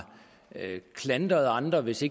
klandret andre hvis